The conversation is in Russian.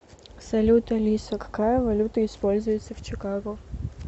салют алиса какая валюта используется в чикаго